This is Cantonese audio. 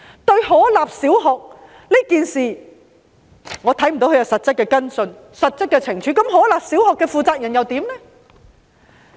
對於可立小學一事，我看不到他有實質的跟進和懲處，而可立小學的負責人又如何呢？